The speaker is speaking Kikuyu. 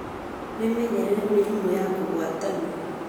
Wĩmenyerere mĩrimũ ya kũgwatanio.